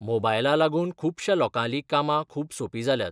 मोबायला लागून खुबशा लोकांलीं कामां खूब सोपी जाल्यात.